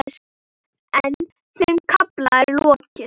En þeim kafla er lokið.